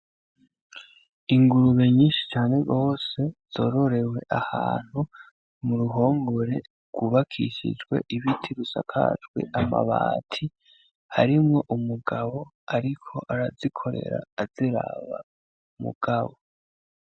Ingurube nyinshi cane gose zororewe ahantu muruhogore rw'ubakishijwe ibiti bisakajwe amabati harimwo umugabo ariko arazikorera aziraba mugabo.